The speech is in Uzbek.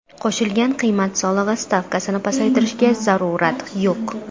Qo‘shilgan qiymat solig‘i stavkasini pasaytirishga zarurat yo‘q.